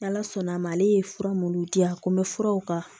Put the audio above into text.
N' ala sɔnna a ma ale ye fura minnu diya ko n bɛ furaw kan